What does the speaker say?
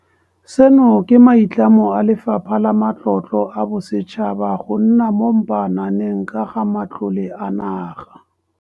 Seno ke maitlamo a Lefapha la Matlotlo a Bosetšhaba go nna mo mpaananeng ka ga matlole a naga.